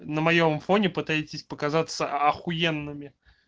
на моем фоне пытаетесь показаться ахуенными